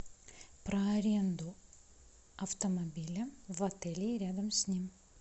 про аренду автомобиля в отеле и рядом с ним